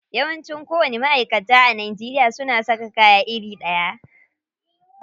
Yawanci kowanni ma'aikata a Najeriya suna saka kaya iri ɗaya.